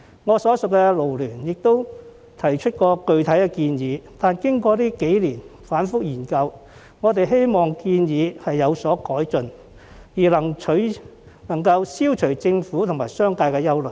我所屬的勞聯亦曾提出具體建議，但經過這數年反覆研究後，我們希望建議有所改進，可以消除政府和商界的憂慮。